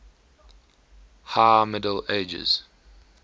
high middle ages